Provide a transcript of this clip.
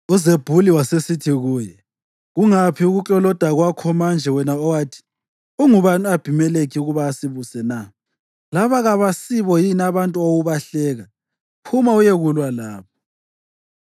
UZebhuli wasesithi kuye, “Kungaphi ukukloloda kwakho manje, wena owathi, ‘Ungubani u-Abhimelekhi ukuba asibuse na?’ Laba kabasibo yini abantu owawubahleka? Phuma uyekulwa labo!”